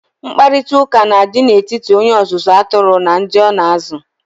Mkparịkọtaụka na-adi n'etiti onye ọzụzụ atụrụ na ndị ọ na-azụ.